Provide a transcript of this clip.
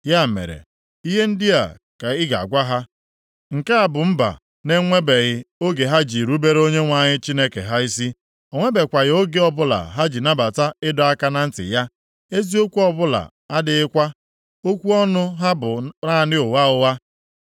Ya mere, ihe ndị a ka ị ga-agwa ha, ‘Nke a bụ mba na-enwebeghị oge ha ji rubere Onyenwe anyị Chineke ha isi. O nwebekwaghị oge ọbụla ha ji nabata ịdọ aka na ntị ya. Eziokwu ọbụla adịghịkwa; okwu ọnụ ha bụ naanị ụgha ụgha.